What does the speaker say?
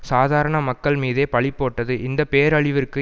சாதாரண மக்கள் மீதே பழிபோட்டது இந்த பேரழிவிற்கு